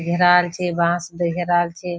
घेराल छे बॉस में टेकेदाल छे।